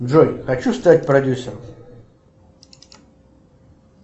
джой хочу стать продюсером